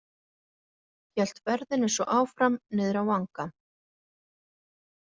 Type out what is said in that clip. Hélt ferðinni svo áfram, niður á vanga.